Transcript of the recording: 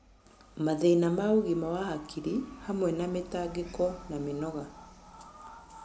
Mathĩna ma ũgima wa hakiri, hamwe na mĩtangĩko na mĩnoga.